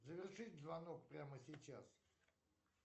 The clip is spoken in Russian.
завершить звонок прямо сейчас